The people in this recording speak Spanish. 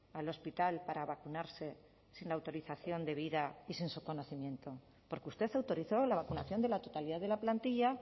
al hospital para vacunarse sin autorización debida y sin su conocimiento porque usted autorizó la vacunación de la totalidad de la plantilla